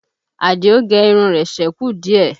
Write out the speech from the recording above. Àdìó gẹ irun rẹ̀ sẹ́kù díẹ̀